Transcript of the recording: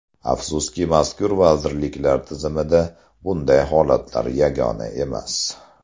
Afsuski, mazkur vazirliklar tizimida bunday holatlar yagona emas.